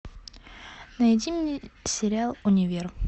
найди мне сериал универ